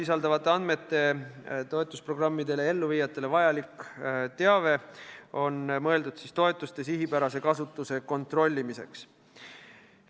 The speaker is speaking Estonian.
Seda toetusprogrammide elluviijatele vajalikku, maksusaladust sisaldavat teavet kasutatakse toetuste sihipärase kasutuse kontrollimiseks.